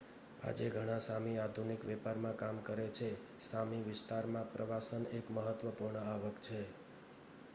આજે ઘણા સામી આધુનિક વેપારમાં કામ કરે છે સામી વિસ્તારમાં પ્રવાસન એક મહત્વપૂર્ણ આવક છે